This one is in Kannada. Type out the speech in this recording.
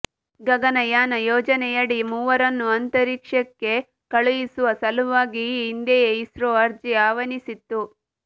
ಗಗನಯಾನ ಯೋಜನೆಯಡಿ ಮೂವರನ್ನು ಅಂತರಿಕ್ಷಕ್ಕೆ ಕಳುಹಿಸುವ ಸಲುವಾಗಿ ಈ ಹಿಂದೆಯೇ ಇಸ್ರೋ ಅರ್ಜಿ ಆಹ್ವಾನಿಸಿತ್ತು